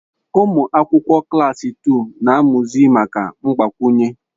Ụmụ akwụkwọ klaasị tuu na-amụzi maka mgbakwunye.